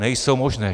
Nejsou možné.